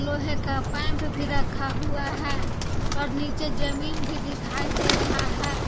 लोहे का पैम्प भी रखा हुआ है और नीचे जमीन भी दिखाई दे रहा है।